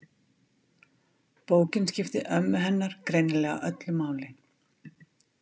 Bókin skipti ömmu hennar greinilega öllu máli.